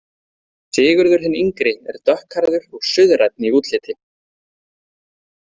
Sigurður hinn yngri er dökkhærður og suðrænn í útliti.